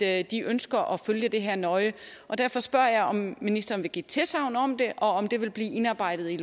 at de ønsker at følge de her nøje derfor spørger jeg om ministeren vil give tilsagn om det og om det vil blive indarbejdet i